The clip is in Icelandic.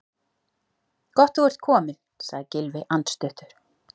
Gott þú ert kominn- sagði Gylfi andstuttur.